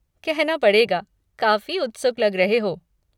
कहना पड़ेगा, काफ़ी उत्सुक लग रहे हो।